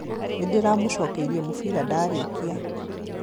Nĩndĩramũcokeirie mũbira ndarĩkia